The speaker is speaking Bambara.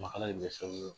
Makala in bɛ se ka